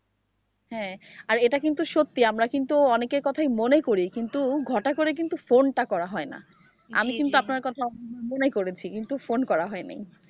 হ্যাঁ আর এটা কিন্তু সত্যি আমরা কিন্তু অনেকের কথাই মনে করি কিন্তু ঘটা করে কিন্তু phone টা করা হয় না আমি কিন্তু আপনার কথা মনে করেছি কিন্তু phone করা হয় নাই ।